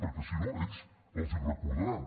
perquè si no ells els ho recordaran